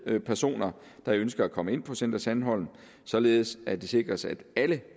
med personer der ønsker at komme ind på center sandholm således at det sikres at alle